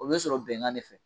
O bɛ sɔrɔ bɛnkan de fɛ.